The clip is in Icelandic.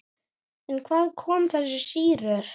En hvaðan koma þessar sýrur?